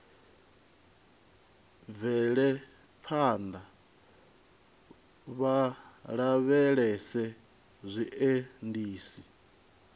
bvele phanḓa vha lavhelese zwiendisi